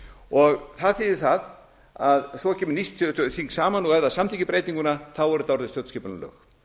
árin það þýðir það að svo kemur nýtt þing saman og ef það samþykkir breytinguna er þetta orðið stjórnskipunarlög